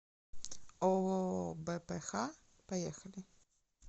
ооо бпх поехали